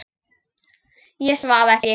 Ég svaf ekki.